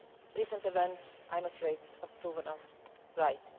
Recent events, I'm afraid, have proven us right.